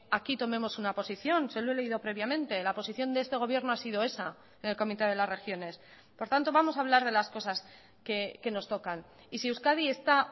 aquí tomemos una posición se lo he leído previamente la posición de este gobierno ha sido esa en el comité de las regiones por tanto vamos a hablar de las cosas que nos tocan y si euskadi está